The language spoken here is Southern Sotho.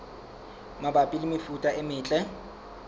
mabapi le mefuta e metle